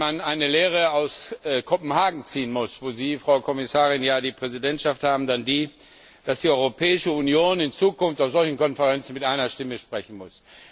Wenn man eine Lehre aus Kopenhagen ziehen muss, wo Sie, Frau Kommissarin ja die Präsidentschaft haben, dann die, dass die Europäische Union in Zukunft auf solchen Konferenzen mit einer Stimme sprechen muss.